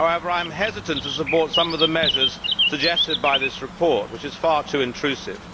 However, I am hesitant to support some of the measures suggested by this report, which is far too intrusive.